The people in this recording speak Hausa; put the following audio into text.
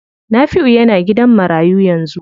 Nafiu yana gidan marayu yanzu.